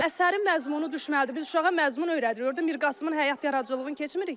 Əsərin məzmunu düşməli idi, biz uşağa məzmun öyrədirik, orda Mir Qasımın həyat yaradıcılığını keçmirik ki.